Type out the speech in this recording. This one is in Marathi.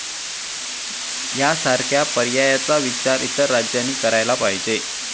यासारख्या पर्यायाचा विचार इतर राज्यांनी करायला पाहिजे.